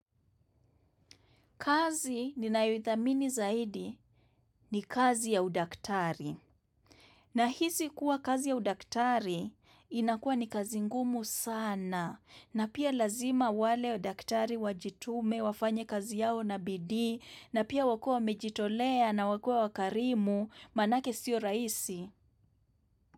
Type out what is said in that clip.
Kazi ni ninayo idhamini zaidi ni kazi ya udaktari. Na hisi kuwa kazi ya udaktari inakuwa ni kazi ngumu sana. Na pia lazima wale udaktari wajitume wafanya kazi yao na bidii na pia wakua mejitolea na wakua wakarimu manake siyo rahisi.